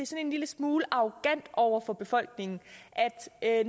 en lille smule arrogant over for befolkningen